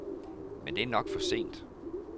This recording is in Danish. Men det er nok for sent.